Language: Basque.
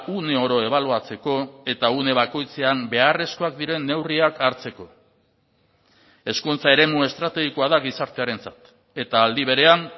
uneoro ebaluatzeko eta une bakoitzean beharrezkoak diren neurriak hartzeko hezkuntza eremu estrategikoa da gizartearentzat eta aldi berean